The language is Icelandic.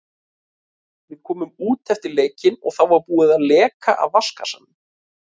Við komum út eftir leikinn og þá var búið að leka af vatnskassanum.